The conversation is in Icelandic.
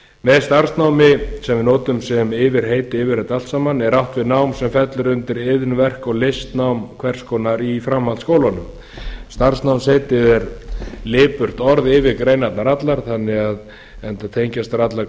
með starfsnámi sem við notum sem yfirheiti yfir þetta allt saman er átt við nám sem fellur undir iðn verk og listnám hvers konar í framhaldsskólum starfsnámsheitið er lipurt orð yfir greinarnar allar enda tengjast þær allar